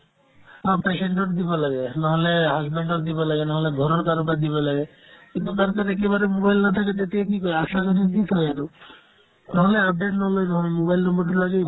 অ, patient ৰ দিব লাগে নহ'লে husband ৰ দিব লাগে নহ'লে ঘৰৰ কাৰোবাৰ দিব লাগে কিন্তু তাত যেন একেবাৰে mobile নাথাকে তেতিয়া কি কৰে আশাজনীৰ দি থই আৰু নহ'লে update নলই নহয় mobile number তো লাগিবই